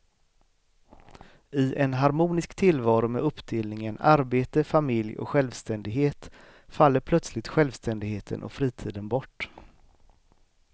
I en harmonisk tillvaro med uppdelningen arbete, familj och självständighet faller plötsligt självständigheten och fritiden bort.